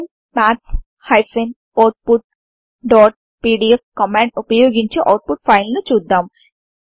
open maths outపీడీఎఫ్ command వుపయోగించి output file ను చూద్దాం